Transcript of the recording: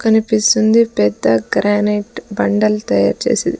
కనిపిస్తుంది పెద్ద గ్రానైట్ బండలు తయారు చేసేది.